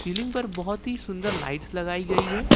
Ceiling पर बहुत ही सुंदर लाइट्स लगाई गई है।